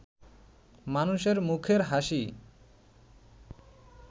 মানুষের মুখের হাসিই